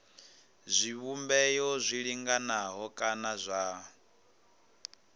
zwivhumbeo zwi linganaho kana zwa